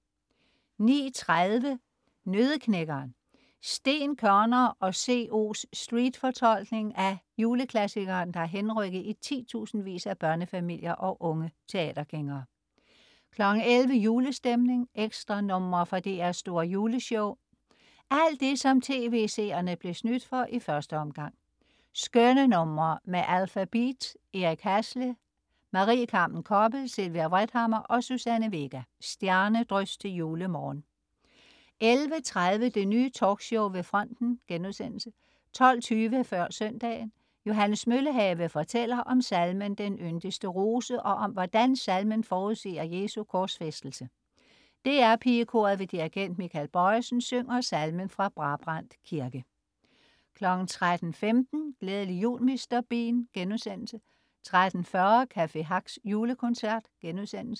09.30 Nøddeknækkeren. Steen Koerner og co's street-fortolkning af juleklassikeren, der har henrykket i titusindvis af børnefamilier og unge teatergængere 11.00 Julestemning. Ekstranumre fra DR's Store Juleshow. Alt det, som tv-seerne blev snydt for i første omgang. Skønne numre med Alphabeat, Eric Hassle, Marie Carmen Koppel, Sylvia Vrethammer og Suzanne Vega. Stjernedrys til julemorgen 11.30 Det Nye Talkshow ved fronten* 12.20 Før søndagen. Johannes Møllehave fortæller om salmen "Den yndigste rose" og om, hvordan salmen forudsiger Jesus' korsfæstelse. DR PigeKoret ved dirigent Michael Bojesen synger salmen fra Brabrand Kirke 13.15 Glædelig jul Mr. Bean* 13.40 Café Hacks julekoncert*